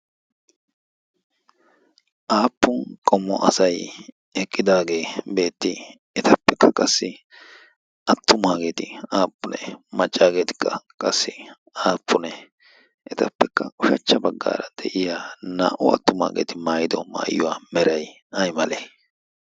aappun qommo asai eqqidaagee beetti etappekka qassi attu maageeti aappunee maccaageetikka qassi aappunee etappekka ushachcha baggaara de'iya naa"u attu maageeti maayido maayiywaa meray ay male?